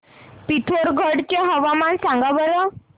पिथोरगढ चे हवामान सांगा बरं